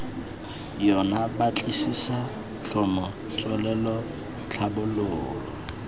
yona batlisisa tlhomo tswelelo tlhabololo